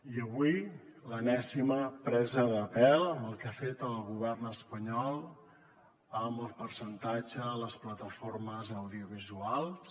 i avui l’enèsima presa de pèl amb el que ha fet el govern espanyol amb el percentatge de les plataformes audiovisuals